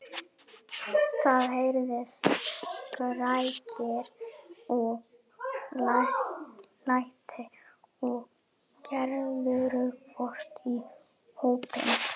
Það heyrðust skrækir og læti og Gerður hvarf í hópinn.